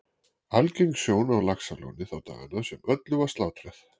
Algeng sjón á Laxalóni þá daga sem öllu var slátrað